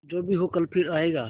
जो भी हो कल फिर आएगा